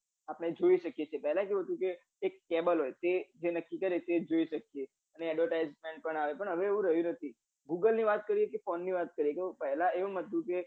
આપડે જોઈ શકીએ છીએ પેહલા કેવું હતું કે cable હોય તે જે નક્કી કરે એ જોઈ શકે અને advertisement પણ આવે પણ હવે એવું રહ્યું નથી google ની વાત કરીએ કે phone ની વાત કરીએ તો પહેલા એમ હતું કે